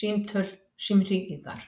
símtöl, símhringingar.